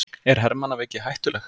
Er hermannaveiki hættuleg?